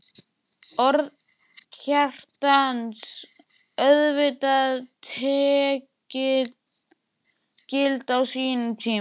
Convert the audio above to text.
Orð Kjartans voru auðvitað tekin gild á sínum tíma.